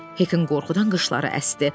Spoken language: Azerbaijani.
Hekin qorxudan qıçları əsdi.